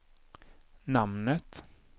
namnet